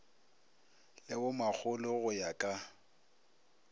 le bomakgolo go ya ka